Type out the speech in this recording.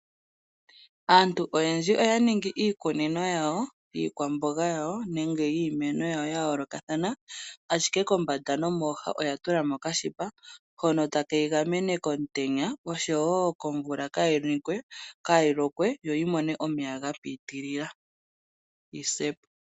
Aantu oyendji oya ningi iikunino yawo yiikwambonga nenge yiimeno yayolokathana ashike kombanda nomooha oyatulamo oka shipa hono taka gamene iimeno komutenya nokomvula, kaa yilokwe yo kaayimone omeya gapitilila.